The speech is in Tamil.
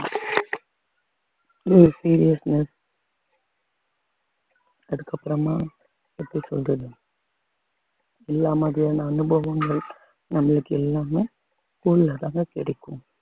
seriousness அதுக்கப்புறமா எப்படி சொல்றது இந்த மாதிரியான அனுபவங்கள் நம்மளுக்கு எல்லாமே school ஆதாங்க கிடைக்கும்